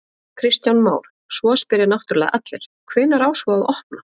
Kristján Már: Svo spyrja náttúrulega allir, hvenær á svo að opna?